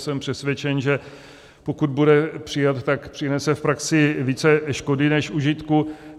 Jsem přesvědčen, že pokud bude přijat, tak přinese v praxi více škody než užitku.